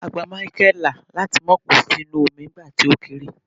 a gba Michael la láti ma ko sínú omi nigba ti o kere